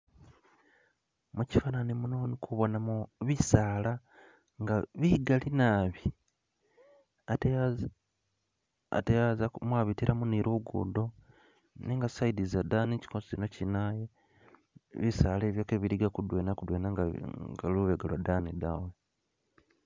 Mushifananyi muno indikubonamo bisala nga bigali nabi ate ate mwabitilamo ni lugudo nenga lubega lwadani bisala kebiliga kudwena kudwena nga lubega lwadani da